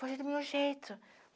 Foi do meu jeito.